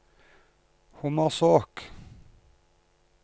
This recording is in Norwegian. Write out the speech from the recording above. Hommersåk